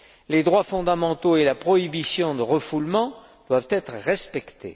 Les droits fondamentaux et la prohibition du refoulement doivent être respectés.